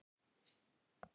Ég verð að fara núna!